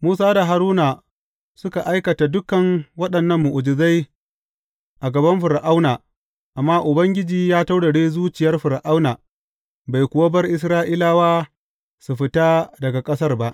Musa da Haruna suka aikata dukan waɗannan mu’ujizai a gaban Fir’auna, amma Ubangiji ya taurare zuciyar Fir’auna, bai kuwa bar Isra’ilawa su fita daga ƙasarsa ba.